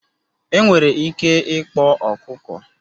Enwere ike ịkpọ ọkụkọ